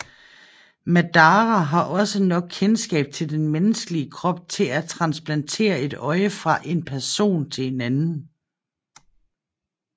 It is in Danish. Madara har også nok kendskab til den menneskelig krop til at transplantere et øje fra en person til en anden